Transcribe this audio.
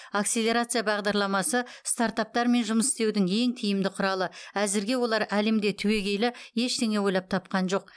акселерация бағдарламасы стартаптармен жұмыс істеудің ең тиімді құралы әзірге олар әлемде түбегейлі ештеңе ойлап тапқан жоқ